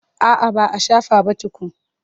A'a ba a shafa ba tukun.